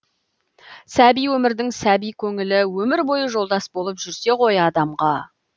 сәби өмірдің сәби көңілі өмір бойы жолдас болып жүрсе ғой адамға